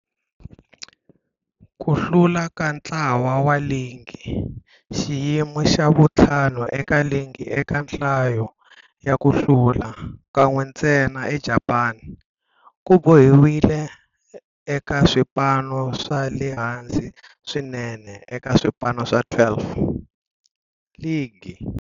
Ku hlula ka ntlhanu wa ligi, xiyimo xa vu-5 eka ligi eka nhlayo ya ku hlula, kan'we ntsena eJapani, ku boheleriwile eka swipano swa le hansi swinene eka swipano swa 12, ligi.